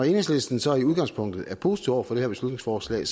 enhedslisten så i udgangspunktet er positive over for det her beslutningsforslag